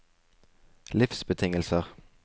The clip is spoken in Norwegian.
livsbetingelser